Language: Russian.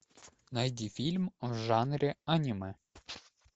найди фильм в жанре аниме